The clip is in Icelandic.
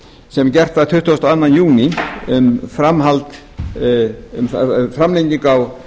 sem gert var tuttugasta og öðrum júní um framhald á